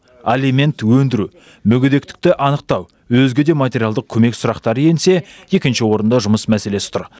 алимент өндіру мүгедектікті анықтау өзге де материалдық көмек сұрақтары енсе екінші орында жұмыс мәселесі тұр